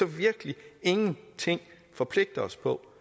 virkelig ikke forpligte os på